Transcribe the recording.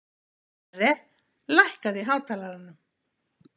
Sverre, lækkaðu í hátalaranum.